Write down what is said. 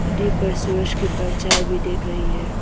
नदी पर सूरज की परछाई भी दिख रही है।